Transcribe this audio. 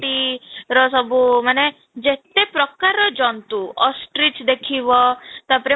ଟି ର ସବୁ ମାନେ ଯେତେ ପ୍ରକାରର ଜନ୍ତୁ ostrich ଦେଖିବ ତା'ପରେ ମ